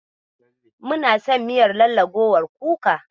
Muna son miyar lallagowar kukar.